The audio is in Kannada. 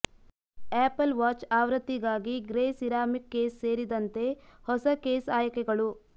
ಆಪಲ್ ವಾಚ್ ಆವೃತ್ತಿಗಾಗಿ ಗ್ರೇ ಸಿರಾಮಿಕ್ ಕೇಸ್ ಸೇರಿದಂತೆ ಹೊಸ ಕೇಸ್ ಆಯ್ಕೆಗಳು